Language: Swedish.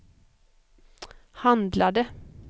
handlade